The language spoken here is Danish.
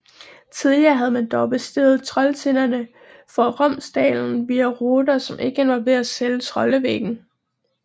Tidligere havde man dog besteget Trolltinderne fra Romsdalen via ruter som ikke involverede selve Trollveggen